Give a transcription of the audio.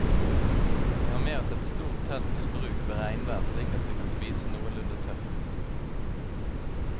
Vi har med oss et stort telt til bruk ved regnvær slik at vi kan spise noenlunde tørt.